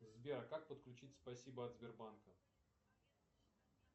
сбер как подключить спасибо от сбербанка